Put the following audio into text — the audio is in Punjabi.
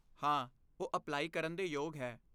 ਹਾਂ, ਉਹ ਅਪਲਾਈ ਕਰਨ ਦੇ ਯੋਗ ਹੈ।